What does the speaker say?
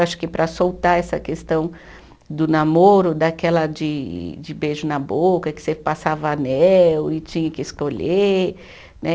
Acho que para soltar essa questão do namoro, daquela de de beijo na boca, que você passava anel e tinha que escolher, né?